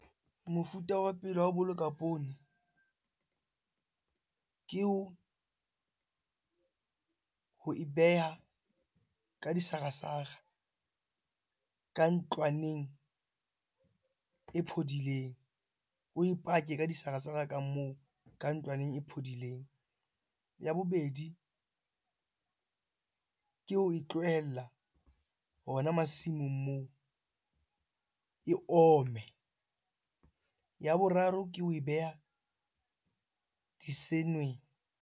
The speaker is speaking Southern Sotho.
Mofuta wa pele wa ho boloka poone ke ho e beha ka disarasara, ka ntlwaneng e phodileng. Oe pake ka disarasara ka moo ka ntlwaneng e phodileng. Ya bobedi, ke ho e tlohella hona masimong moo e omme. Ya boraro ke ho e beha .